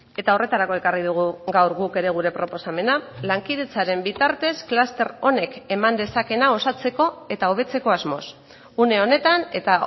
eta horretarako ekarri dugu gaur guk ere gure proposamena lankidetzaren bitartez kluster honek eman dezakeena osatzeko eta hobetzeko asmoz une honetan eta